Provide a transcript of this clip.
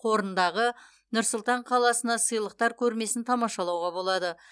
қорындағы нұр сұлтан қаласына сыйлықтар көрмесін тамашалауға болады